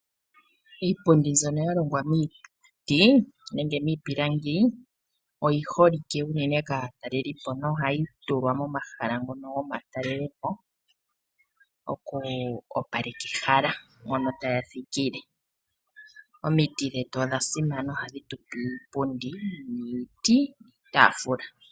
Iipundi mbyono ya longwa miiti nenge miipilangi oyi holike unene kaatalelipo nohayi tulwa momahala ngono gomatalelepo oku opaleka ehala mo taya thikile. Omiti dhetu odha simana ohadhi tu pe iipundi, iiti niitaafula.